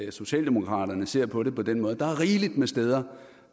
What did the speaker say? at socialdemokraterne ser på det på den måde der er rigeligt med steder